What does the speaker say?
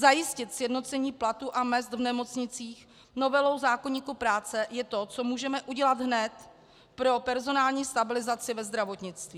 Zajistit sjednocení platů a mezd v nemocnicích novelou zákoníku práce je to, co můžeme udělat hned pro personální stabilizaci ve zdravotnictví.